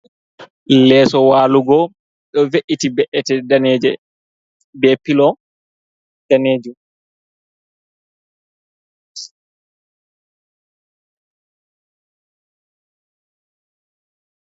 Leeso walugo ɗo ve’iti be’ete daneje be pilo danejum.